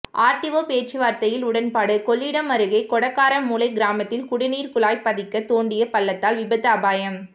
RTO பேச்சுவார்த்தையில் உடன்பாடு கொள்ளிடம் அருகே கொடக்காரமூலை கிராமத்தில் குடிநீர் குழாய் பதிக்க தோண்டிய பள்ளத்தால் விபத்து அபாயம்